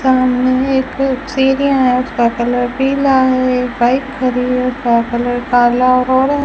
सामने एक सीढ़ियां है उसका कलर पीला है एक बाइक खड़ी है का कलर कला भूरा --